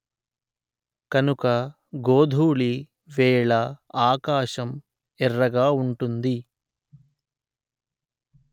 కనుక గోధూళి వేళ ఆకాశం ఎర్రగా ఉంటుంది